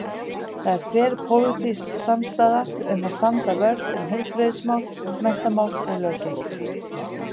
Það er þverpólitísk samstaða um að standa vörð um heilbrigðismál, menntamál og löggæslu.